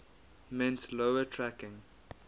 meant lower tracking